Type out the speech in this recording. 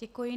Děkuji.